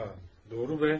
A, doğru bə.